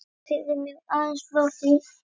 Segðu mér aðeins frá því.